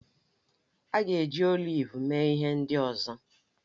A ga-eji oliv mee ihe ndị ọzọ